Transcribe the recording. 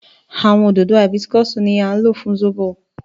Àwọn òdòdó Hibiscus ni a lò fún sóbò